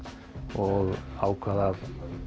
og ákvað að